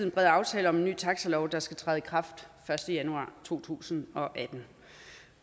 en bred aftale om en ny taxilov der skal træde i kraft første januar to tusind og atten